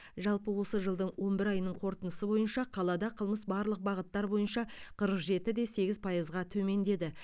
жалпы осы жылдың он бір айының қорытындысы бойынша қалада қылмыс барлық бағыттар бойынша қырық жетіде сегіз пайызға төмендеді